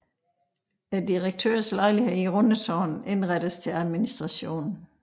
Direktørens lejlighed i Rundetårn indrettes til administration